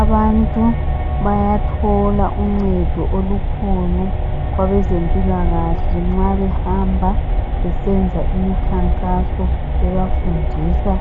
Abantu bayathola uncedo olukhulu kwabezempilakahle nxa behamba besenza imikhankaso bebafundisa